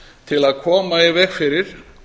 til að koma í veg fyrir